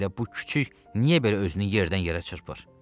Hələ bu kiçik niyə belə özünü yerdən-yerə çırpır?